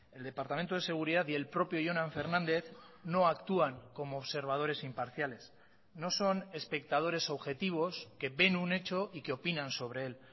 el departamento de seguridad y el propio jonan fernandez no actúan como observadores imparciales no son espectadores objetivos que ven un hecho y que opinan sobre él